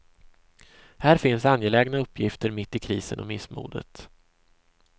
Här finns angelägna uppgifter mitt i krisen och missmodet.